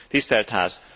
tisztelt Ház!